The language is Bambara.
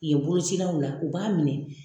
Ye bolocilaw la u b'a minɛ.